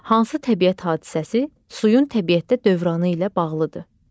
Hansı təbiət hadisəsi suyun təbiətdə dövranı ilə bağlıdır?